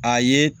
A ye